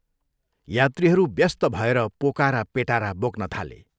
यात्रीहरू व्यस्त भएर पोका र पेटारा बोक्न थाले।